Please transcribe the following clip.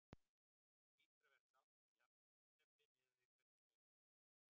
Þú hlýtur að vera sáttur við jafntefli miðað við hvernig leikurinn spilaðist?